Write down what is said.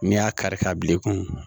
N'i y'a kari ka bilen i kun